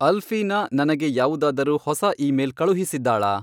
ಅಲ್ಫೀನಾ ನನಗೆ ಯಾವುದಾದರೂ ಹೊಸ ಇಮೇಲ್ ಕಳುಹಿಸಿದ್ದಾಳಾ?